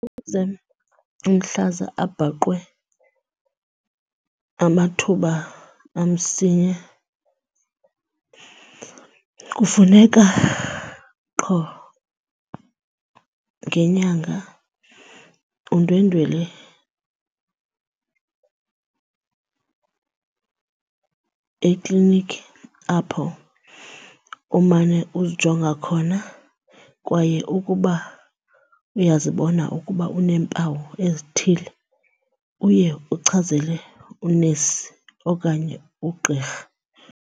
Ukuze umhlaza abhaqwe amathuba amsinya kufuneka qho ngenyanga undwendwele ekliniki apho umane uzijonga khona. Kwaye ukuba uyazibona ukuba uneempawu ezithile uye uchazele unesi okanye ugqirha.